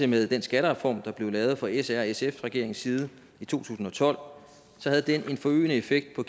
med den skattereform der blev lavet fra s r sf regeringens side i to tusind og tolv havde den en forøgende effekt på